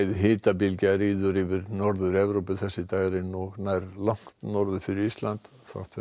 hitabylgja ríður yfir Norður Evrópu þessi dægrin og nær langt norður fyrir Ísland þrátt fyrir